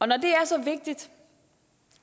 når det er så vigtigt